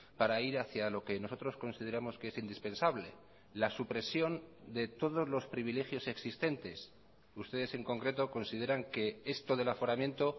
para ir hacia lo que nosotros consideramos que es indispensable la supresión de todos los privilegios existentes ustedes en concreto consideran que esto del aforamiento